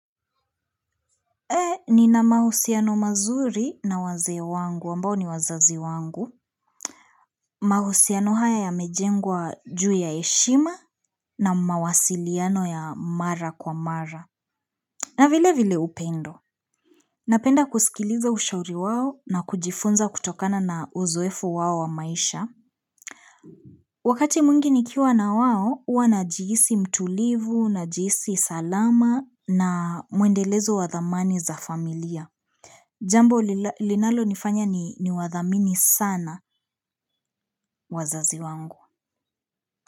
Nina mahusiano mazuri na wazee wangu ambao ni wazazi wangu mahusiano haya yamejengwa juu ya heshima na mawasiliano ya mara kwa mara na vile vile upendo Napenda kusikiliza ushauri wao na kujifunza kutokana na uzoefu wao wa maisha Wakati mwingi nikiwa na wao uwa najihisi mtulivu, najihisi salama na muendelezo wadhamani za familia Jambo linalo nifanya ni wadhamini sana wazazi wangu.